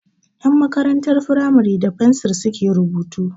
Ƴan makarantar firamare da fensir su ke rubutu